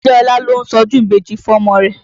Adéọlá ló ń ṣọdún ìbejì fọ́mọ rẹ̀.